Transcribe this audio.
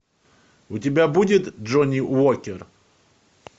у тебя будет джонни уокер